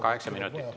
Kaheksa minutit.